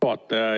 Hea juhataja!